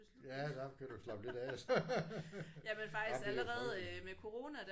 Ja der kan du slappe lidt af. Jamen det er jo frygteligt